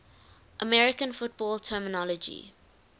american football terminology